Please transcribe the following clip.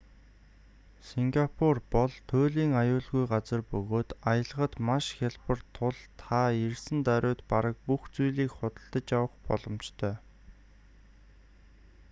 сингапур бол туйлын аюулгүй газар бөгөөд аялахад маш хялбар тул та ирсэн даруйд бараг бүх зүйлийг худалдаж авах боломжтой